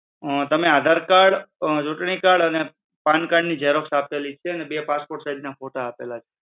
તમે આધાર કાર્ડ, ચુંટણી કાર્ડ અને પાન કાર્ડ ની xerox આપેલી છે અને બે passport size ના ફોટા આપેલ છે.